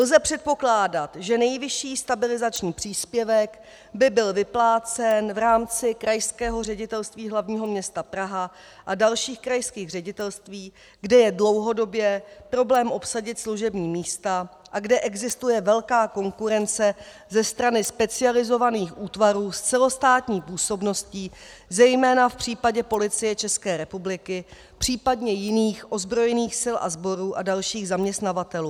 Lze předpokládat, že nejvyšší stabilizační příspěvek by byl vyplácen v rámci Krajského ředitelství hlavního města Praha a dalších krajských ředitelství, kde je dlouhodobě problém obsadit služební místa a kde existuje velká konkurence ze strany specializovaných útvarů s celostátní působností, zejména v případě Policie České republiky, případně jiných ozbrojených sil a sborů a dalších zaměstnavatelů.